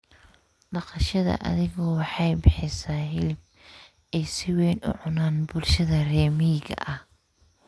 Dhaqashada adhigu waxay bixisaa hilib ay si weyn u cunaan bulshada reer miyiga ah.